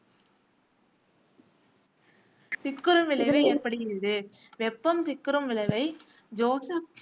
சிக்குறும் விளைவு எனப்படுகிறது. வெப்பம் சிக்குறும் விளைவை ஜோசப்